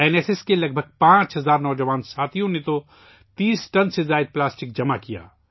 N S S کے تقریباً 5000 نوجوانوں نے 30 ٹن سے زیادہ پلاسٹک جمع کیا